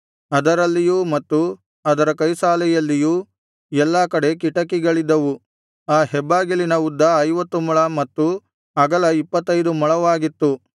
ಅದರಲ್ಲಿಯೂ ಮತ್ತು ಅದರ ಕೈಸಾಲೆಯಲ್ಲಿಯೂ ಎಲ್ಲಾ ಕಡೆ ಕಿಟಕಿಗಳಿದ್ದವು ಆ ಹೆಬ್ಬಾಗಿಲಿನ ಉದ್ದ ಐವತ್ತು ಮೊಳ ಮತ್ತು ಅಗಲ ಇಪ್ಪತ್ತೈದು ಮೊಳವಾಗಿತ್ತು